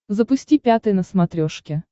запусти пятый на смотрешке